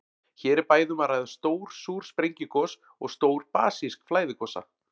Hér er bæði um að ræða stór súr sprengigos og stór basísk flæðigosa.